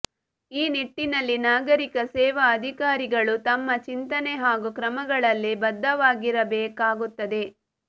ಈ ನಿಟ್ಟಿನಲ್ಲಿ ನಾಗರಿಕ ಸೇವಾ ಅಧಿಕಾರಿಗಳು ತಮ್ಮ ಚಿಂತನೆ ಹಾಗೂ ಕ್ರಮಗಳಲ್ಲಿ ಬದ್ಧವಾಗಿರಬೇಕಾಗುತ್ತದೆ